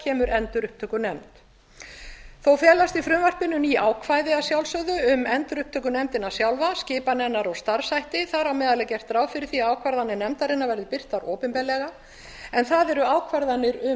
kemur endurupptökunefnd þó felast í frumvarpinu ný ákvæði að sjálfsögðu um endurupptökunefndina sjálfa skipan hennar og starfshætti þar á meðal er gert ráð fyrir því að ákvarðanir nefndarinnar verði birtar opinberlega en það eru ákvarðanir